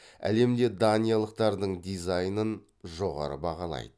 әлемде даниялықтардың дизайнын жоғары бағалайды